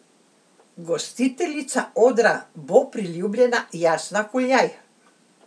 Gostiteljica odra bo priljubljena Jasna Kuljaj.